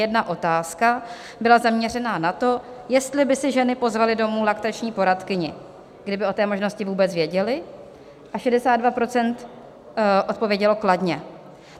Jedna otázka byla zaměřena na to, jestli by si ženy pozvaly domů laktační poradkyni, kdyby o té možnosti vůbec věděly, a 62 % odpovědělo kladně.